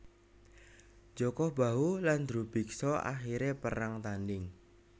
Jaka Bahu lan Drubiksa akhire perang tanding